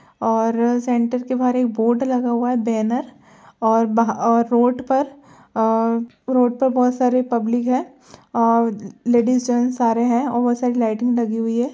और सेंटर के बाहर एक बोर्ड लगा हुआ है। बैनर और बहा अ रोड पर अ रोड पर बहोत सारे पब्लिक है अ लेडीज जेंट्स सारे हैं और बहोत सारी लाइटिंग लगी हुई है।